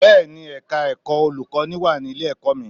Bẹ́ẹ̀ni, Ẹ̀ka ẹ̀kọ́ olùkọ́ní wà ní ilé-ẹ̀kọ́ mi